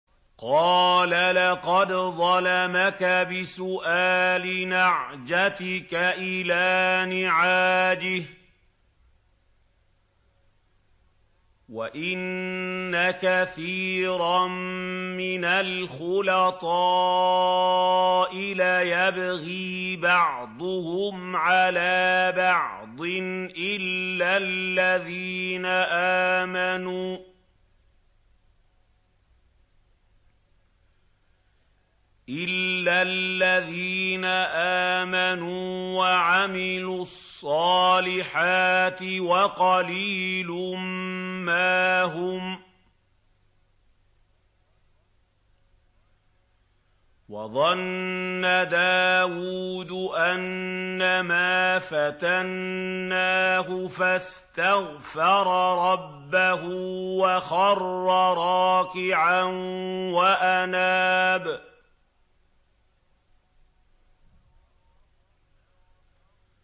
قَالَ لَقَدْ ظَلَمَكَ بِسُؤَالِ نَعْجَتِكَ إِلَىٰ نِعَاجِهِ ۖ وَإِنَّ كَثِيرًا مِّنَ الْخُلَطَاءِ لَيَبْغِي بَعْضُهُمْ عَلَىٰ بَعْضٍ إِلَّا الَّذِينَ آمَنُوا وَعَمِلُوا الصَّالِحَاتِ وَقَلِيلٌ مَّا هُمْ ۗ وَظَنَّ دَاوُودُ أَنَّمَا فَتَنَّاهُ فَاسْتَغْفَرَ رَبَّهُ وَخَرَّ رَاكِعًا وَأَنَابَ ۩